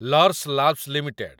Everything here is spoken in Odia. Laurus Labs limited